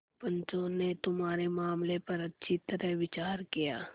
पंचों ने तुम्हारे मामले पर अच्छी तरह विचार किया